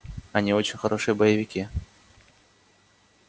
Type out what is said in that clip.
они очень хорошие боевики